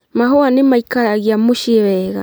Mahũa nĩmaikaragia mũciĩ wega